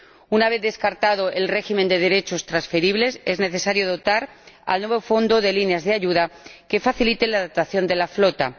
Una vez descartado el régimen de derechos transferibles, es necesario dotar al nuevo Fondo de líneas de ayuda que faciliten la adaptación de la flota.